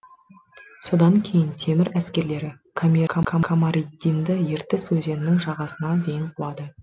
содан кейін темір әскерлері камариддинді ертіс өзенінің жағасына дейін қуады